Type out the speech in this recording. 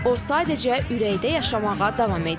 O, sadəcə ürəkdə yaşamağa davam edir.